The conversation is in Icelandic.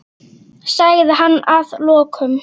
sagði hann að lokum.